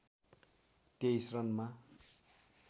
२३ रनमा